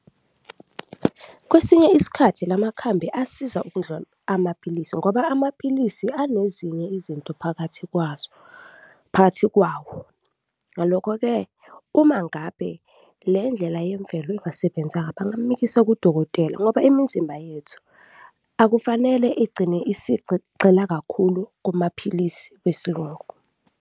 Kwesinye isikhathi la makhambi asiza ukundlula amaphilisi ngoba amaphilisi anezinye izinto phakathi kwazo, phakathi kwawo. Ngalokho-ke, uma ngabe le ndlela yemvelo ingasebenzanga, bangamumikisa kudokotela ngoba imizimba yethu akufanele igcine isigqile kakhulu kumaphilisi wesiLungu.